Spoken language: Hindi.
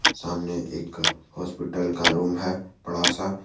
सामने एक हॉस्पिटल का रूम है बड़ा सा।